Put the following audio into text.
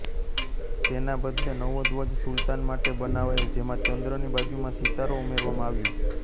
તેના બદલે નવો ધ્વજ સુલાતન માટે બનાવાયો જેમાં ચંદ્રની બાજુમાં સિતારો ઉમેરવામાં આવ્યો